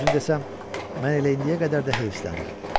Düzünü desəm, mən elə indiyə qədər də heyfsilənirəm.